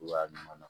Cogoya ɲuman na